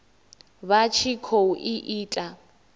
vha tshi khou i ita